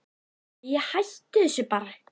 Æi, hættu þessu bara.